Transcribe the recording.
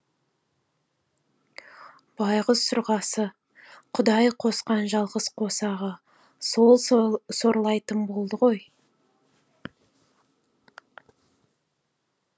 байғұс сырғасы құдай косқан жалғыз қосағы сол сорлайтын болды ғой